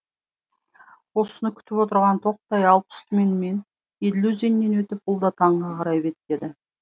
осыны күтіп отырған тоқтай алпыс түменмен еділ өзенінен өтіп бұл да танға қарай беттеді